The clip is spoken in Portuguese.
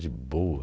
De boa.